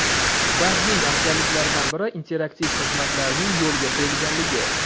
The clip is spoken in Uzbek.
Bankning afzalliklaridan biri, interaktiv xizmatlarning yo‘lga qo‘yilganligi.